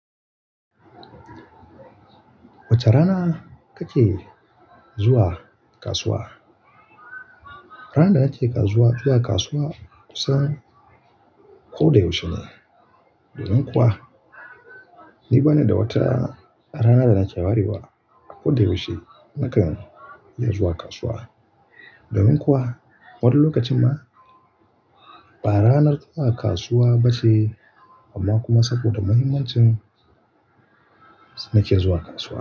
Wace rana kake zuwa kasuwa? Ranar da nake zuwa kasuwa kusan ko da yaushe ne. Domin kuwa ni bana da wata rana da nake warewa. Ko da yaushe nakan iya zuwa kasuwa. Domin kuwa, wani lokacin ma ba ranar zuwa kasuwa ba ce amma kuma saboda muhimmancin nake zuwa kasuwa.